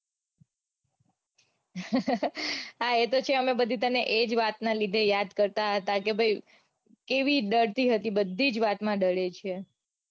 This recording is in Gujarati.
હા એતો છે અમે બધી તને એજ વાત ના લીધે યાદ કરતા હતા કે ભાઈ કેવી ડરતી હતી બધી જ વાતમાં દરે છે.